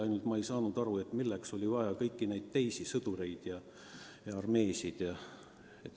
Ainult ma ei saa aru, milleks oli vaja kõiki neid teisi sõdureid ja tervet armeed.